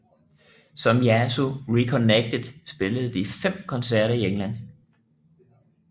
Som Yazoo Reconnected spillede de fem koncerter i England